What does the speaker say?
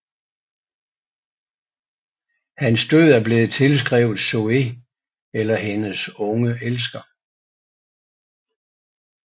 Hans død er blevet tilskrevet Zoë eller hendes unge elsker